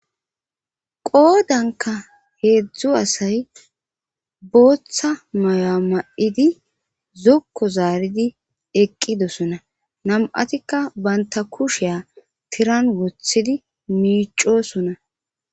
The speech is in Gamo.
qoodanka heedzdzu asay booththa mayo7a ma7idi zokko zaaridi eqqidosona nam7atikka banta kusheya tiran wothidi miicosona